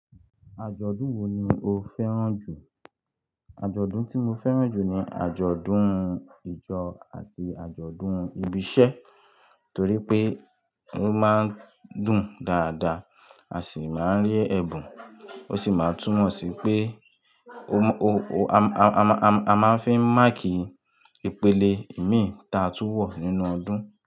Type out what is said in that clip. Àjọ̀dún wo ni o fẹ́ràn jù? Àjọ̀dún tí mo fẹ́ràn jù ni àjọ̀dún ìjọ àti àjọ̀dún ibi iṣẹ́ torí pé ó máa ń dùn dáadáa a sì máa ń rí ẹ̀bùn, ó sì máa ń túnmọ̀ sí pé o má, o, o, a, a, a máa ń fi ń máàkì ìpele ìmíì ta a túwọ̀ nínú ọdún.